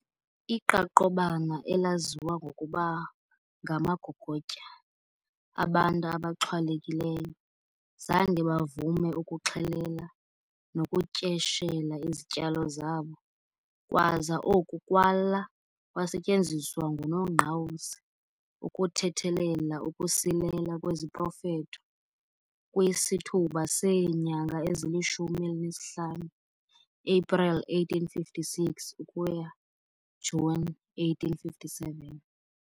Iqaqobana, elaziwa ngokuba "ngamagogotya", abantu abaxhwalekileyo, zange bavume ukuxhelela nokutyeshela izityalo zabo, kwaza oku kwala kwasetyenziswa nguNongqawuse ukuthethelela ukusilela kweziprofetho kwisithuba seenyanga ezilishumi elinesihlanu, April 1856 - June 1857.